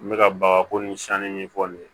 N bɛ ka baga ko ni sanni ɲɛfɔ nin ye